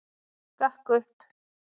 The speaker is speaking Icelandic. Gakk upp!